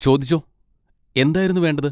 ചോദിച്ചോ, എന്തായിരുന്നു വേണ്ടത്?